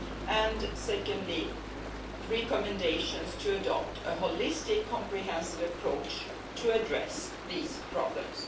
and, second, recommendations on adopting a holistic, comprehensive approach to address these problems.